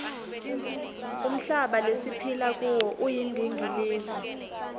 umhlaba lesiphila kuwo uyindingilizi